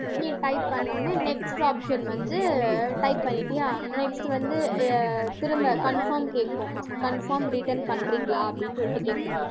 நீ type பண்ண உடனே next option வந்து type பண்ணிட்டியா next வந்து, அஹ் திரும்ப confirm கேக்கும் confirm return பண்றீங்களா அப்படின்னு சொல்லிட்டு கேக்கும்